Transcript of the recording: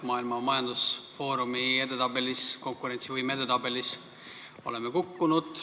Maailma Majandusfoorumi koostatud konkurentsivõime edetabelis oleme kukkunud.